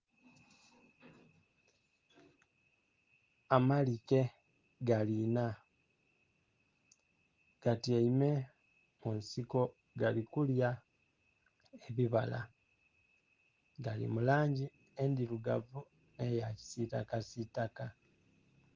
Amaalike gali enna, gatyaime mu nsiko gali kulya ebibala, gali mu langi endirugavu ne yakisitakasita.